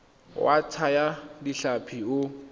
wa go thaya ditlhapi o